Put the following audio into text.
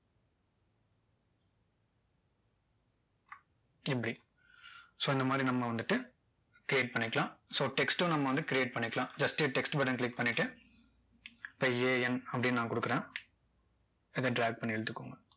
இப்படி so இந்த மாதிரி நம்ம வந்துட்டு create பண்ணிக்கலாம் so text உம் நம்ம வந்து create பண்ணிக்க்லாம் just text button click பண்ணிட்டு இப்போ a n அப்படின்னு நான் கொடுக்கிறேன் இதை drag பண்ணி இழுத்துக்கோங்க